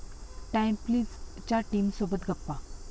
time प्लीज'च्या टीमसोबत गप्पा